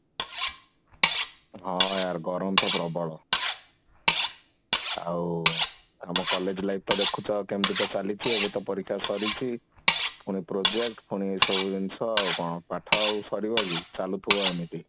ହଁ ଗରମ ତ ପ୍ରବଳ ହଁ ଆମ college life ଟା ଦେଖୁଛ କେମିତି ତ ଚାଲିଛି ଗୋଟେ ପରିକ୍ଷ୍ୟା ତ ସରିଛି ପୁଣି project ପୁଣି ଏଇ ସବୁ ଜିନିଷ ଆଉ କଣ ପାଠ ଆଉ ସରିବ କି ଚାଲୁଥିବ ଏମିତି